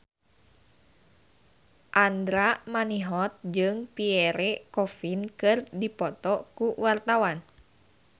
Andra Manihot jeung Pierre Coffin keur dipoto ku wartawan